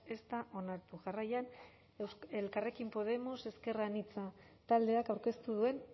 ez da onartu jarraian elkarrekin podemos ezker anitza taldeak aurkeztu duen